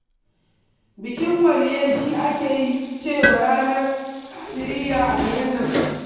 Bikin waliyyai shi ake cewa ranar ƙadiriyya a garin nan